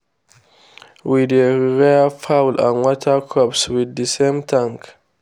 we dey rear fowl and water crops with the same tank.